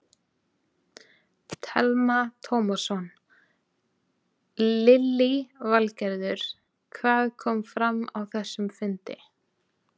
Telma Tómasson: Lillý Valgerður, hvað kom fram á þessum fundi?